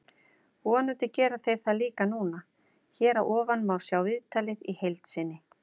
Vonandi gera þeir það líka núna. Hér að ofan má sjá viðtalið í heild sinni.